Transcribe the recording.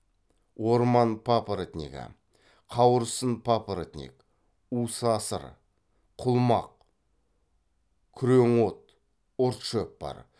орман папоротнигі қауырсын папоротник усасыр құлмақ күреңот ұртшөп бар